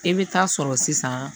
I bɛ taa sɔrɔ sisan